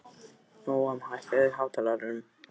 Nóam, hækkaðu í hátalaranum.